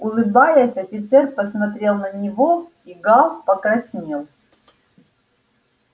улыбаясь офицер посмотрел на него и гаал покраснел